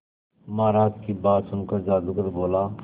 महाराज की बात सुनकर जादूगर बोला